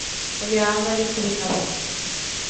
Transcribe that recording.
лиана литвинова